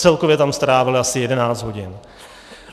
Celkově tam strávily asi 11 hodin.